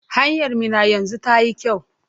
Hanyar Minna yanzu tayi kyau?